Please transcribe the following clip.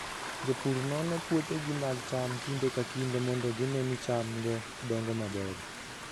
Jopur nono puothegi mag cham kinde ka kinde mondo gine ni chamgo dongo maber.